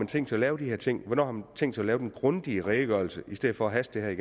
tænkt sig at lave de her ting hvornår har man tænkt sig at lave den grundige redegørelse i stedet for at haste det